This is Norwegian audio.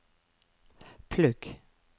plugg